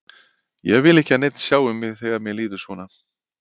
Ég vil ekki að neinn sjái mig þegar mér líður svona.